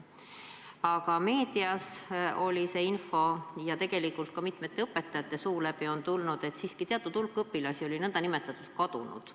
Aga meedias oli infot ja tegelikult on ka mitmete õpetajate suu läbi kuulda olnud, et teatud hulk õpilasi oli siiski n-ö kadunud.